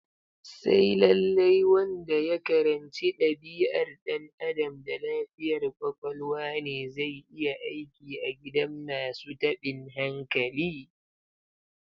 Sai lallai wanda ya karanci dabi'ar Dan Adam da lafiyar kwakwalwa ne zai iya aiki a gidan masu tabin hankali?